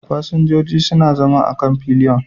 Fasinjoji suna zama a kan fillion